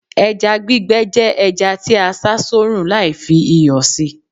eja gbígbẹ je eja ti a sá sorun Lai fi iyò sí